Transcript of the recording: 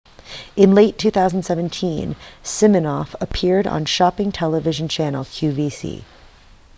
in late 2017 siminoff appeared on shopping television channel qvc